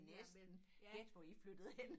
Næsten gæt hvor i flyttede hen